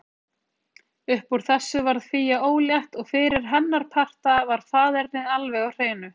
Uppúr þessu varð Fía ólétt og fyrir hennar parta var faðernið alveg á hreinu.